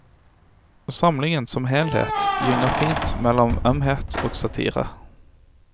Samlingen som helhet gynger fint mellom ømhet og satire.